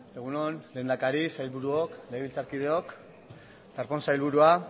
egun on lehendakari sailburuok legebiltzarkideok darpón sailburua